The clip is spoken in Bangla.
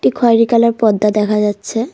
খয়রি কালার পর্দা দেখা যাচ্ছে।